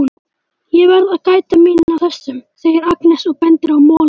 Ég verð að gæta mín á þessum, segir Agnes og bendir á molana.